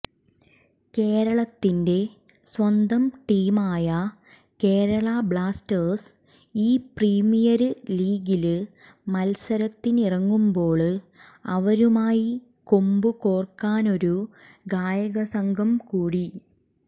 കേരളത്തിന്റെ സ്വന്തം ടീമായ കേരളാ ബ്ളാസ്റ്റേഴ്സ് ഈ പ്രീമിയര് ലീഗില് മത്സരത്തിനിറങ്ങുമ്പോള് അവരുമായി കൊമ്പ് കോര്ക്കാനൊരു ഗായക സംഘം കൂടി